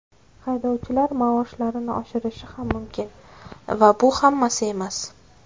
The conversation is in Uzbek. Haydovchilar maoshlarini oshirishi ham mumkin va bu hammasi emas.